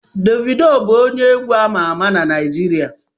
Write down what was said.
Davido bụ onye egwu ama na Naịjirịa